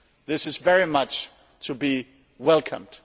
This is very much to be welcomed.